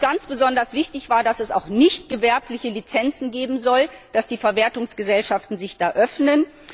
Ganz besonders wichtig war uns, dass es auch nichtgewerbliche Lizenzen geben soll, dass die Verwertungsgesellschaften sich da öffnen.